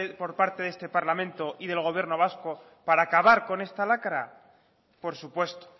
por parte de este parlamento y del gobierno vasco para acabar con esta lacra por supuesto